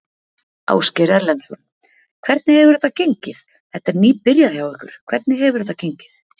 Ásgeir Erlendsson: Hvernig hefur þetta gengið, þetta er nýbyrjað hjá ykkur, hvernig hefur þetta gengið?